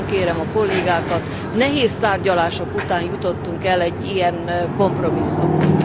Én nagyon kérem a kollégákat, nehéz tárgyalások után jutottunk el egy ilyen kompromisszumhoz.